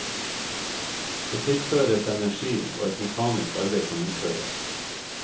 Det tilføres energi og et mekanisk arbeid kan utføres.